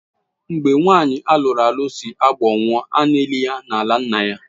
Mgbe nwanyi alụru alụ sị Agbor nwụọ, ana elị ya n'ala nna-ya.